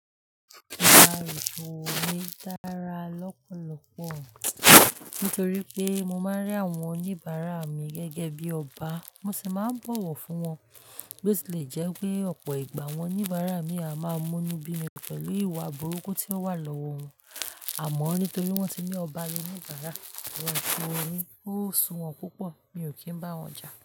Ìgbà ètò mi dára lọ́pọ̀lọpọ̀ nítorí pé mo máa ń rí àwọn oníbàárà mi gẹ́gẹ́ bí ọba. Wọ́n sì máa ń bọ̀wọ̀ fún wọn. Bí ó ṣe lè jẹ́ pé ọ̀pọ̀ ìgbà àwọn oníbàárà mi a máa mú inú bí mi pẹ̀lú ìwà burúkú tí ó wà lọ́wọ́ wọn, àmọ́ nítorí wọ́n ti ni ọba lo níbààrà, àwọn tí orin ó sun wọn púpọ̀, mi ò kí ń bá wọn jà.